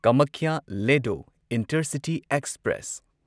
Kamakhya Ledo intercity express